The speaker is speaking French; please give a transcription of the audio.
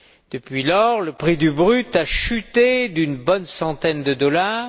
Depuis lors, le prix du brut a chuté d'une bonne centaine de dollars.